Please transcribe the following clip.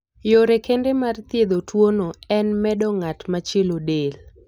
Yore kende mar thiedho tuwono en medo ng'at machielo del.